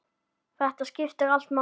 Þetta skiptir allt máli.